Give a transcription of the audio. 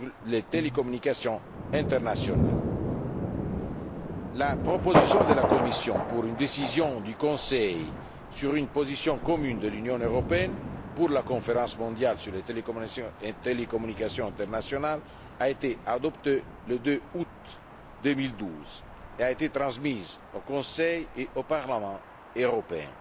les télécommunications internationales. La proposition de la Commission pour une décision du Conseil sur une position commune de l'Union européenne pour la conférence mondiale sur les télécommunications internationales a été adoptée le 2 août 2012 et a été transmise au Conseil et au Parlement européen.